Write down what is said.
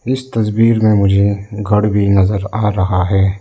इस तस्वीर में मुझे घर भी नजर आ रहा है।